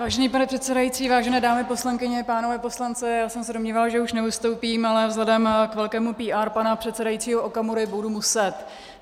Vážený pane předsedající, vážené dámy poslankyně, pánové poslanci, já jsem se domnívala, že už nevystoupím, ale vzhledem k velkému PR pana předsedajícího Okamury budu muset.